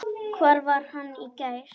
Hvar var hann í gær?